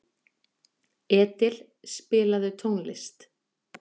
Edil, spilaðu tónlist.